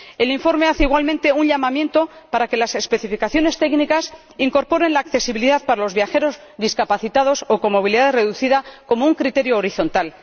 El informe hace igualmente un llamamiento para que las especificaciones técnicas incorporen la accesibilidad para los viajeros discapacitados o con movilidad reducida como un criterio horizontal.